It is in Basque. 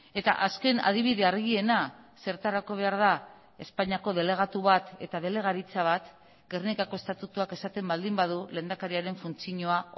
eta azken adibide argiena zertarako behar da espainiako delegatu bat eta delegaritza bat gernikako estatutuak esaten baldin badu lehendakariaren funtzioa